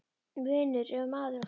. vinur, ef maður átti vini.